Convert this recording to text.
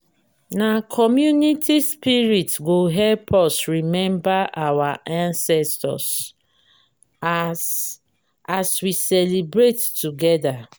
na community spirit go help us remember our ancestors as as we celebrate together.